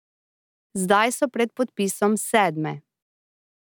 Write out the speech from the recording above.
Zdaj so pred podpisom sedme.